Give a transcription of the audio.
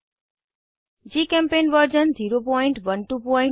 जीचेम्पेंट version 01210